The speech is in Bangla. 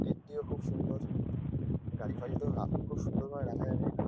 গেট -টিও খুব সুন্দর গাড়ি ফারি তো খুব সুন্দরভাবে রাখা যাবে এখানে।